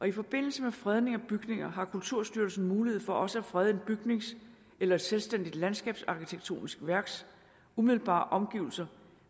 i forbindelse med fredning af bygninger har kulturstyrelsen mulighed for også at frede en bygnings eller et selvstændigt landskabsarkitektonisk værks umiddelbare omgivelser